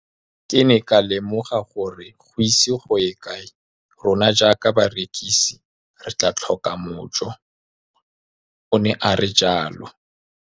Ke ne ka lemoga gore go ise go ye kae rona jaaka barekise re tla tlhoka mojo, o ne a re jalo.